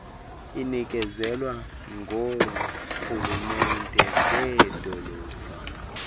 inikezelwa ngoorhulumente beedolophu